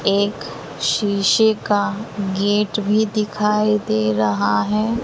एक शीशे का गेट भी दिखाई दे रहा है।